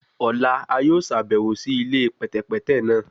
Ọla a yoo ṣabẹwo si ile pẹtẹpẹtẹ naa